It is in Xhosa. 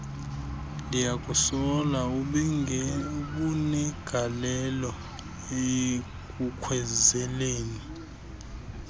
ndiyakusola ubenegalelo ekukhwezeleni